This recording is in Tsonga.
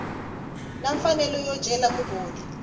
na mfanelo yo cela mugodi